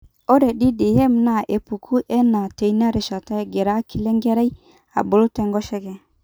ore ddm naa epuku enaa teina rishata egira akili enkerai abulu tenkoshoke